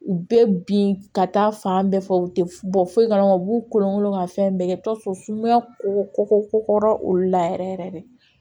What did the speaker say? U bɛɛ bin ka taa fan bɛɛ fɛ u tɛ bɔ foyi kalama u b'u kolonkolon ka fɛn bɛɛ kɛ i bi t'a sɔrɔ sumaya kɔkɔ olu la yɛrɛ yɛrɛ de